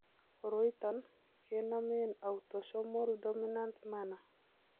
Koroiton kenomen autosomal dominant manner